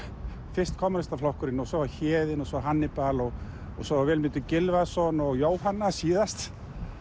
fyrst Kommúnistaflokkurinn svo Héðinn og svo Hannibal og svo Vilmundur Gylfason og Jóhanna síðast